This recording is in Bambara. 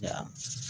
Ya